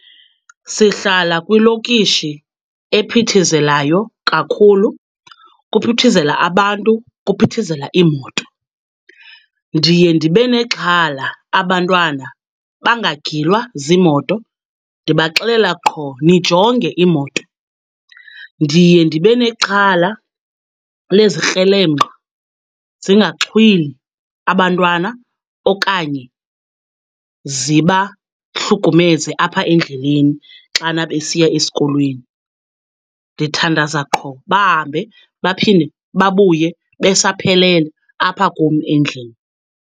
Sihlala kwilokishi ephithizelayo kakhulu, kuphithizela abantu, kuphithizela imoto. Ndiye ndibe nexhala abantwana bangagilwa ziimoto. Ndibaxelela qho, nijonge iimoto. Ndiye ndibe nexhala lezikrelemnqa zingaxhwili abantwana okanye zibahlukumeze apha endleleni xana besiya esikolweni. Ndithandaza qho bahambe baphinde babuye besaphelele apha kum endlini.